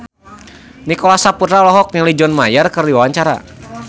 Nicholas Saputra olohok ningali John Mayer keur diwawancara